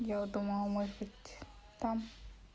я вот думала может быть там